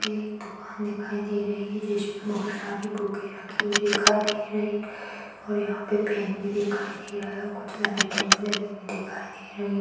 एक दुकान दिखाई दे रही है जिसमें बहोत सारी बुके रखी हुई दिखाई दे रही है और यहाँ पे पेन भी दिखाई दे रहा है और कुछ लाइटें भी लगी हुई दिखाई दे रही है।